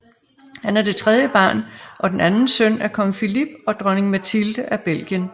Han er det tredje barn og den anden søn af Kong Philippe og Dronning Mathilde af Belgien